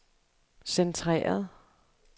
centreret